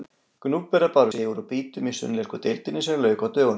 Gnúpverjar báru sigur úr býtum í sunnlensku deildinni sem lauk á dögunum.